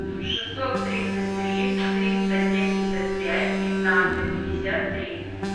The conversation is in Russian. шестьсот тридцать три триста семьдесят пять пятнадцать пятьдесят три